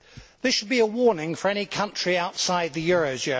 This should be a warning for any country outside the eurozone.